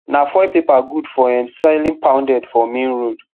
na foil paper good for um selling pounded for main road